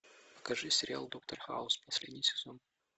покажи сериал доктор хаус последний сезон